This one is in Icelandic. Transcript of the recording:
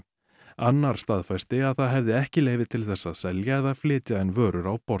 annar staðfesti að hann hefði ekki leyfi til þess að selja eða flytja inn vörur á borð